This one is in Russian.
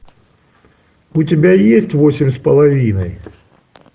у тебя есть восемь с половиной